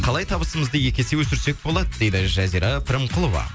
қалай табысымызды екі есе өсірсек болады дейді жазира пірімқұлова